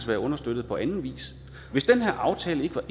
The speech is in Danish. være understøttet på anden vis hvis den her aftale ikke var